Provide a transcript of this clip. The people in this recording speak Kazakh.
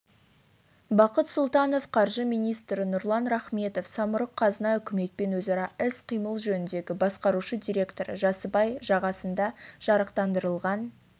бақыт сұлтанов қаржы министрі нұрлан рахметов самұрық-қазына үкіметпен өзара іс-қимыл жөніндегі басқарушы директоры жасыбай жағасында жарықтандырылған